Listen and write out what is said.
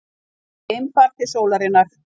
Geimfar til sólarinnar